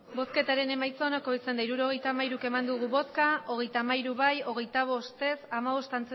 emandako botoak hirurogeita hamairu bai hogeita hamairu ez hogeita bost